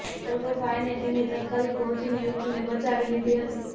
જોકે ફાયરની ટીમે તાત્કાલિક પહોંચીને યુવતીને બચાવી લીધી હતી